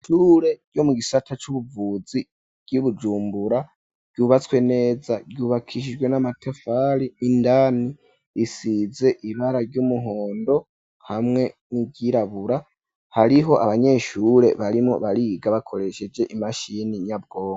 Ishure ryo mu gisata c'ubuvuzi ryi Bujumbura byubatswe neza ryubakishijwe n'amatafari indani isize ibara ry'umuhondo hamwe n'iryirabura hariho abanyeshure barimo bariga bakoresheje imashini nyabwonko.